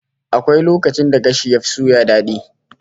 Akwai lokacin da gashi yafi suya dadi